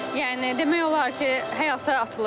Yəni demək olar ki, həyata atılırıq.